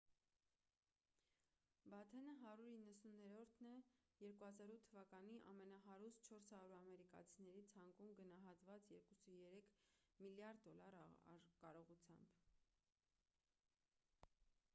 բաթենը 190-րդն է 2008 թվականի ամենահարուստ 400 ամերիկացիների ցանկում գնահատված 2,3 միլիարդ դոլար կարողությամբ